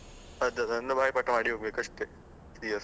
ಅದೆಲ್ಲ ಬಾಯಿಪಾಠ ಮಾಡಿ ಹೋಗ್ಬೇಕು ಅಷ್ಟೆ.